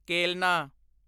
ਕੇਲਨਾ